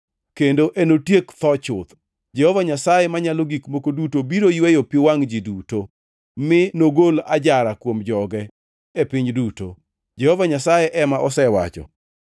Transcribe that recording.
kendo enotiek tho chuth. Jehova Nyasaye Manyalo Gik Moko Duto biro yweyo pi wangʼ ji duto; mi nogol ajara kuom joge e piny duto. Jehova Nyasaye ema osewacho.